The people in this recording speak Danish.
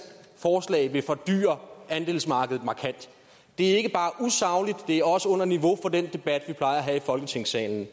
forslag vil fordyre andelsmarkedet markant det er ikke bare usagligt det er også under niveau for den debat vi plejer at have i folketingssalen